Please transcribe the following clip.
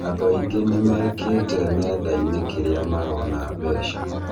Andũ aingĩ nimekĩte nenda-inĩ krĩa marona mbeca.